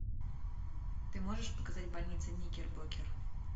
ты можешь показать больница никербокер